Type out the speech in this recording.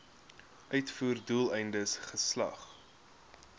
uitvoer doeleindes geslag